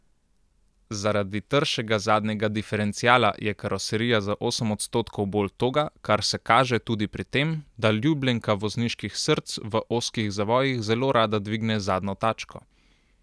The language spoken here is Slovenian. Zaradi tršega zadnjega diferenciala je karoserija za osem odstotkov bolj toga, kar se kaže tudi pri tem, da ljubljenka vozniških src v ozkih zavojih zelo rada dvigne zadnjo tačko.